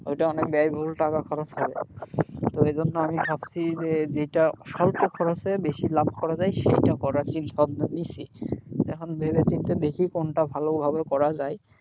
ওইটা অনেক ব্যয়বহুল টাকা খরচ হবে, তো এইজন্য আমি ভাবছি যে যেটা স্বল্প খরচে বেশি লাভ করা যায় সেইটা করার যে সব নিসি, এখন ভেবে চিনতে দেখি কোনটা ভালো ভাবে করা যায়।